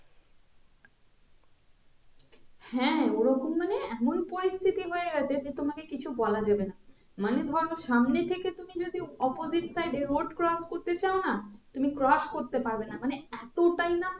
হ্যাঁ ওই রকম মানে এমন পরিস্থিতি হয়ে গেছে যে তোমাকে কিছু বলা যাবে না মানে ধরো সামনে থেকে তুমি যদি opposite side এ road cross করতে চাও না তুমি cross করতে পারবে না মানে এতটাই না